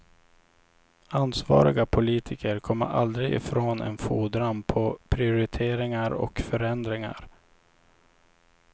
Ansvariga politiker kommer aldrig ifrån en fordran på prioriteringar och förändringar.